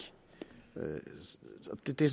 det